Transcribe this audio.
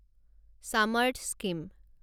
সামৰ্থ স্কিম